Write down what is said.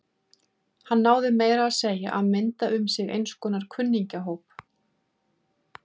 Hann náði meira að segja að mynda um sig eins konar kunningjahóp.